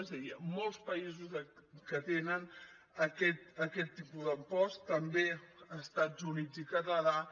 és a dir hi ha molts països que tenen aquest tipus d’impost també els estats units i el canadà